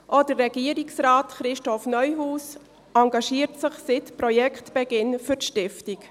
Auch Regierungsrat Christoph Neuhaus engagiert sich seit Projektbeginn für die Stiftung.